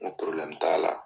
N ko t'a la.